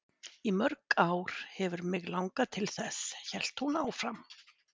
Í mörg ár hefur mig langað til þess, hélt hún áfram.